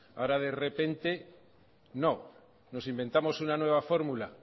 ahora de repente no nos inventamos una nueva fórmula